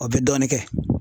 O bɛ dɔɔnin kɛ.